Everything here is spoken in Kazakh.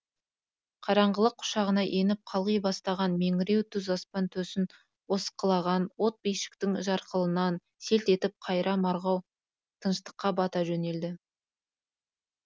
қараңғылық құшағына еніп қалғи бастаған меңіреу түз аспан төсін осқылаған от бишіктің жарқылынан селт етіп қайыра марғау тыныштыққа бата жөнелді